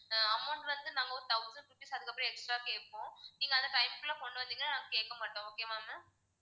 ஆஹ் amount வந்து நாங்க ஒரு thousand rupees அதுக்கப்பறம் extra ஆ கேப்போம் நீங்க அந்த time குள்ள கொண்டு வந்தீங்கன்னா நாங்க கேக்க மாட்டோம் okay வா ma'am